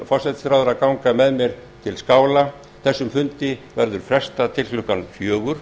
forsætisráðherra að ganga með mér til skála þessum fundi verður nú frestað til klukkan fjögur